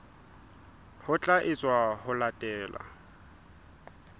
ho tla etswa ho latela